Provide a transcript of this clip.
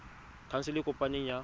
khansele e e kopaneng ya